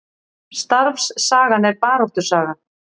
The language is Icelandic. Starfssagan er baráttusaga